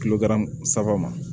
Kilo saba ma